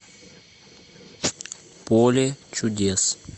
поле чудес